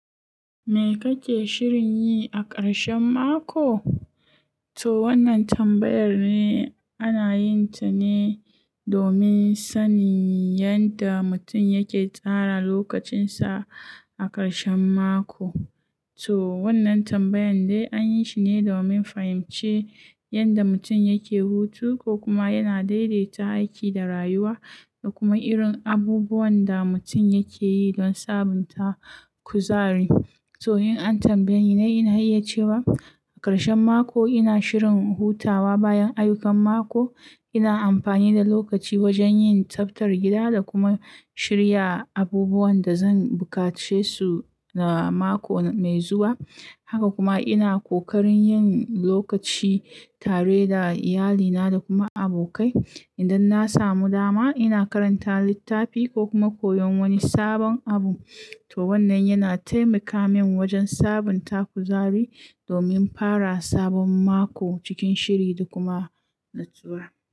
Me kake shirin yi a ƙarshen mako? To wannan tambayar ne ana yin ta ne domin sanin yadda mutum yake tsara lokacin sa a ƙarshen mako. To wannan tambayar dai an yi shi ne domin fahimci yadda mutum yake hutu ko kuma yana daidaita aiki da rayuwa da kuma irin abubuwan da mutum yake yi don sabunta kuzari. To in an tambaye ni, ina iya cewa a ƙarshen mako ina shirin hutawa bayan ayyukan mako. Ina amfani da lokaci wajen yin tsaftar gida da kuma shirya abubuwan da zan buƙace su na mako mai zuwa. Haka kuma ina kokarin yin lokaci tare da iyalina da kuma abokai. Idan na samu dama, ina karanta littafi ko kuma koyon wani sabon abu. To wannan yana taimaka min wajen sabunta kuzari domin fara sabon mako cikin shiri da kuma natsuwa.